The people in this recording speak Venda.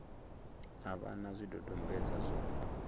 a vha na zwidodombedzwa zwa